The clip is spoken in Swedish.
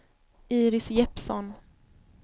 Iris Jeppsson